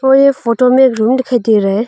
और ये फोटो में रूम दिखाई दे रहा है।